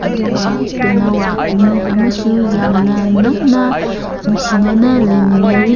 ꯑꯗꯨꯒ ꯇꯦꯅꯋꯥ ꯑꯅꯤ ꯑꯃꯁꯨ ꯌꯥꯝꯅ ꯅꯛꯅ ꯅꯨꯁꯤꯅꯅ ꯂꯩꯃꯤꯟꯅꯔꯤ꯫